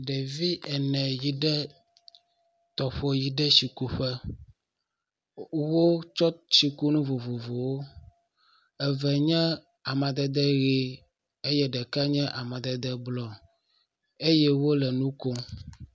Ɖevi ene yi ɖe tɔƒo yi ɖe tsikuƒe wotsɔ tsikunu vovovowo. Eve nye amadede ʋi eye ɖeka nye amadede blɔ eye wo le nu kom.